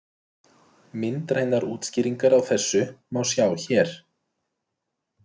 Myndrænar útskýringar á þessu má sjá hér.